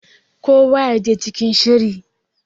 kowa ya je cikin shiri!